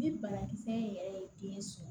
Ni banakisɛ in yɛrɛ ye kelen sɔrɔ